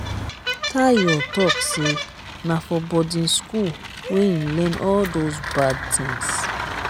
tayo talk say na for boarding school wey im learn all doz bad things